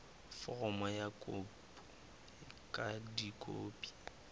foromo ya kopo ka dikopi